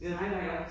Det vildt nok ik